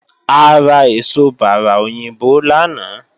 A ra èso bárà òyìnbó lánàá